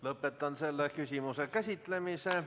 Lõpetan selle küsimuse käsitlemise.